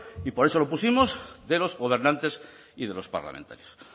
y por eso lo pusimos de los gobernantes y de los parlamentarios